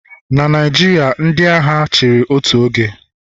Na Naijiria, ndị agha chịrị otu oge